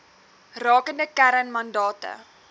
rakende kern mandate